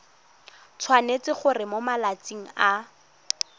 tshwanetse gore mo malatsing a